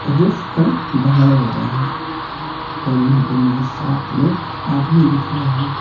Roof का ढलाई हो रहा है और यहां पे मुझे सात लोग आदमी दिख रहे हैं।